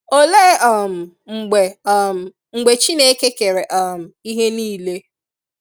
Olee um mgbe um mgbe Chineke kere um ihe nile?